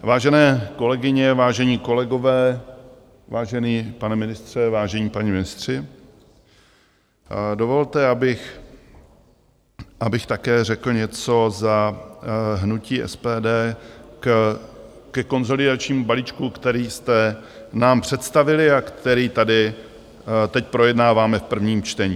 Vážené kolegyně, vážení kolegové, vážený pane ministře, vážení páni ministři, dovolte, abych také řekl něco za hnutí SPD ke konsolidačnímu balíčku, který jste nám představili a který tady teď projednáváme v prvním čtení.